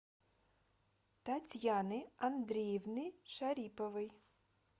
татьяны андреевны шариповой